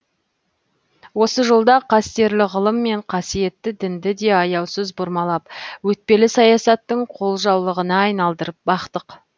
осы жолда қастерлі ғылым мен қасиетті дінді де аяусыз бұрмалап өтпелі саясаттың қолжаулығына айналдырып бақтық